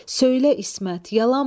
Söylə İsmət, yalanmı?